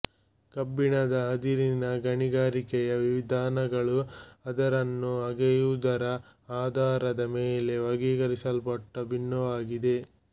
ಕಬ್ಬಿಣದ ಅದಿರಿನ ಗಣಿಗಾರಿಕೆಯ ವಿಧಾನಗಳು ಅದಿರನ್ನು ಅಗೆಯುವುದರ ಆಧಾರದ ಮೇಲೆ ವರ್ಗೀಕರಿಸಲ್ಪಟ್ಟು ಭಿನ್ನವಾಗಿದೆ